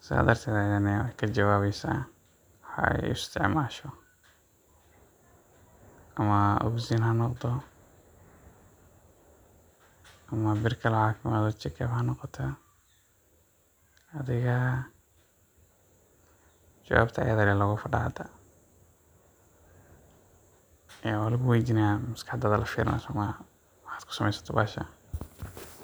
sidaa darteed ugu jawaabaysa waxa ay u isticmaasho — ha ahaato oxygen ama bir kale oo check-up noqoto. Jawaabta ayayda ayaa laga fadhiyaa. Hadda maskaxdayda ayaa la fiirinayaa, waxayna ku isticmaashaa bahashan.